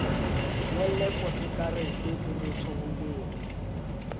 ngolle posekarete o mo thoholetse